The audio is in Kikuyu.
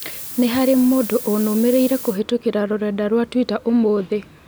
Nĩ harĩ mũndũ ũnũmĩrĩire kũhītũkīra rũrenda rũa tũita ũmũthĩ.